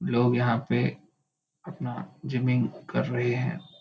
लोग यहाँ पे अपना जिमिंग कर रहे है।